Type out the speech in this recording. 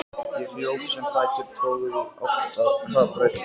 Ég hljóp sem fætur toguðu í átt að hraðbrautinni.